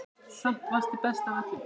Samt varstu best af öllum.